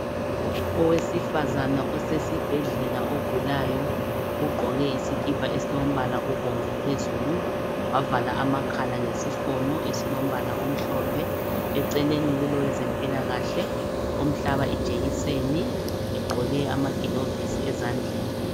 Owesifazana esesibhedlela ogulayo ugqoke isikipa esilombala obomvu phezulu wavala amakhala ngesifonyo esilombala omhlophe. Eceleni kulo wezempilakahle emhlaba ijekiseni egqoke amagilovisi ezandleni.